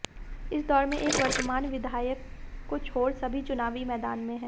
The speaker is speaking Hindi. इस दौर में एक वर्तमान विधायक को छोड़ सभी चुनावी मैदान में हैं